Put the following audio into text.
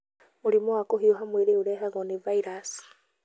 Mũrimũ wa kũhiũha mwĩrĩ ũrehagwo nĩ vairaci.